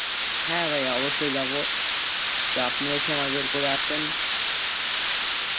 হ্যাঁ ভাই অবশ্যই যাবো তা আপনিও সময় বের করে একদিন আসেন